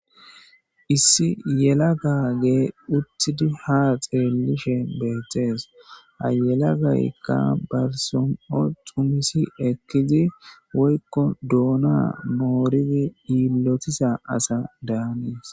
Issi yela gagee uttidi ha xeellishe beethtees ayelagaykka barsom7o xumisi ekkizi woykko duona mooridi yiillotisa asa daanees.